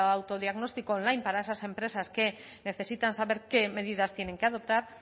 autodiagnóstico online para esas empresas que necesitan saber qué medidas tienen que adoptar